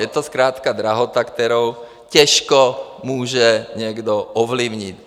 Je to zkrátka drahota, kterou těžko může někdo ovlivnit.